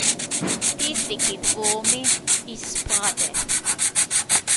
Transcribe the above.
Tisti, ki dvomi, izpade.